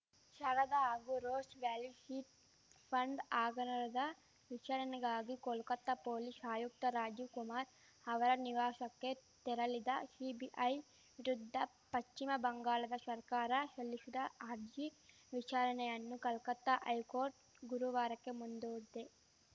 ಶಾರದಾ ಹಾಗೂ Rose Valley chit fund ಹಾಗರಣದ ವಿಚಾರಣೆಗಾಗಿ ಕೋಲ್ಕತಾ ಪೊಲೀಶ್ ಆಯುಕ್ತ ರಾಜೀವ್‌ ಕುಮಾರ್‌ ಅವರ ನಿವಾಶಕ್ಕೆ ತೆರಳಿದ ಶಿಬಿಐ ವಿರುದ್ಧ ಪಶ್ಚಿಮ ಬಂಗಾಳ ಶರ್ಕಾರ ಶಲ್ಲಿಶಿದ ಅರ್ಜಿ ವಿಚಾರಣೆಯನ್ನು ಕಲ್ಕತ್ತಾ ಹೈಕೋರ್ಟ್‌ ಗುರುವಾರಕ್ಕೆ ಮುಂದೂಡಿದೆ